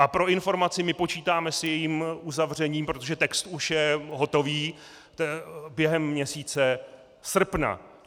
A pro informaci - my počítáme s jejím uzavřením, protože text už je hotov, během měsíce srpna.